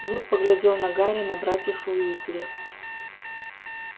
вуд поглядел на гарри на братьев уизли